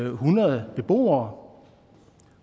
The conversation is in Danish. en hundrede beboere